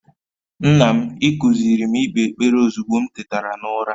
Nna m, I kuziiri m ikpe ekpere ozugbo m tetara n'ụra.